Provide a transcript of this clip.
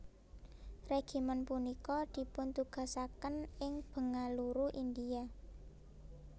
Regimen puniki dipuntugasaken ing Bengaluru India